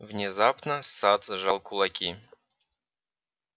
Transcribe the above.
внезапно сатт сжал кулаки